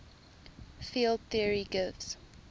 field theory gives